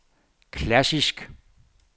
klassisk